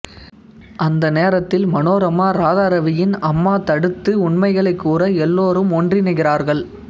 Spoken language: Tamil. அந்த நேரத்தில் மனோரமா ராதாரவியின் அம்மா தடுத்து உண்மைகளைக் கூற எல்லோரும் ஒன்றிணைகிறார்கள்